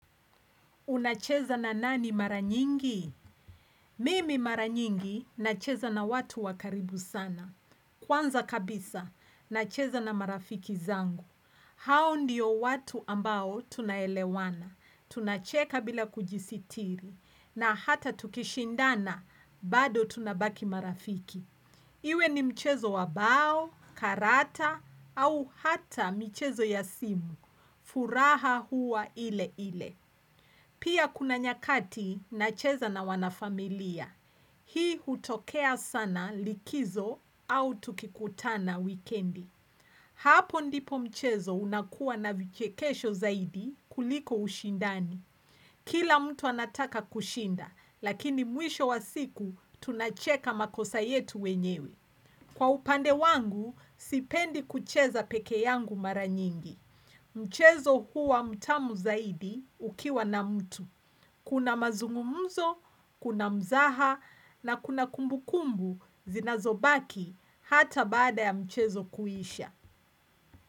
Unacheza na nani mara nyingi? Mimi mara nyingi, nacheza na watu wa karibu sana. Kwanza kabisa, nacheza na marafiki zangu. Hao ndiyo watu ambao tuna elewana. Tunacheka bila kujisitiri. Na hata tukishindana, bado tunabaki marafiki. Iwe ni mchezo wa bao, karata au hata michezo ya simu, furaha hua ile ile. Pia kuna nyakati nacheza na wanafamilia, hii hutokea sana likizo au tukikutana wikendi. Hapo ndipo mchezo unakuwa na vichekesho zaidi kuliko ushindani. Kila mtu anataka kushinda, lakini mwisho wa siku tunacheka makosa yetu wenyewe. Kwa upande wangu, sipendi kucheza peke yangu mara nyingi. Mchezo huwa mtamu zaidi ukiwa na mtu. Kuna mazungumuzo, kuna mzaha na kuna kumbukumbu zinazobaki hata baada ya mchezo kuisha.